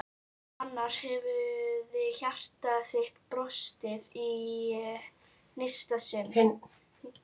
Annars hefði hjarta þitt brostið í hinsta sinn.